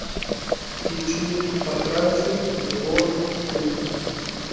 включи потрачу егор крид